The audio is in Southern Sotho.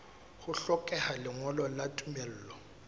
ho hlokeha lengolo la tumello